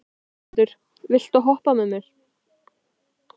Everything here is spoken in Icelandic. Þorbrandur, viltu hoppa með mér?